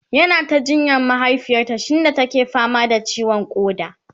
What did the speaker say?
yana ta jinyar mahaifiyarta shinda take fama da ciwon koda